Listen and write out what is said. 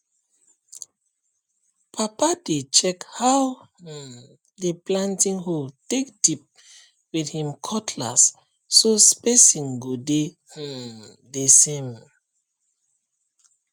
papa dey check how um the planting hole take dip with him cutlass so spacing go dey um the same um